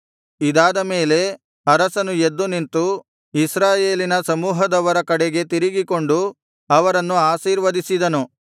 ಇದಾದ ಮೇಲೆ ಅರಸನು ಎದ್ದು ನಿಂತು ಇಸ್ರಾಯೇಲಿನ ಸಮೂಹದವರ ಕಡೆಗೆ ತಿರುಗಿಕೊಂಡು ಅವರನ್ನು ಆಶೀರ್ವದಿಸಿದನು